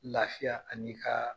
Lafiya ani ka